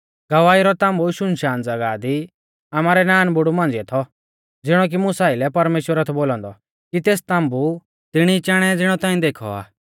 गवाही रौ ताम्बु शुनशान ज़ागाह दी आमारै नानबुड़ु मांझ़िऐ थौ ज़िणौ कि मुसा आइलै परमेश्‍वरै थौ बोलौ औन्दौ कि तेस ताम्बु तिणी चाणै ज़िणौ ताऐं देखौ आ